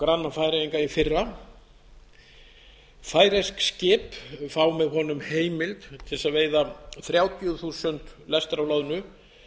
granna og færeyinga í fyrra færeysk skip fá með honum heimild til að veiða þrjátíu þúsund lestir af loðnu